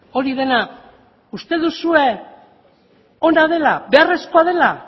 hori dena uste duzue ona dela beharrezkoa dela